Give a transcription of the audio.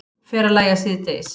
Fer að lægja síðdegis